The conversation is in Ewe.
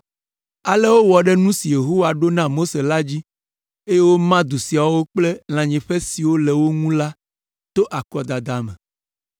Ale wowɔ ɖe nu si Yehowa ɖo na Mose la dzi, eye woma du siawo kple lãnyiƒe siwo le wo ŋu la to akɔdada me.